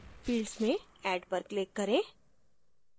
fields में add पर click करें